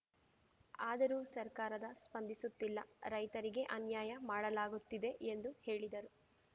ಆದರೂ ಸರ್ಕಾರದ ಸ್ಪಂದಿಸುತ್ತಿಲ್ಲ ರೈತರಿಗೆ ಅನ್ಯಾಯ ಮಾಡಲಾಗುತ್ತಿದೆ ಎಂದು ಹೇಳಿದರು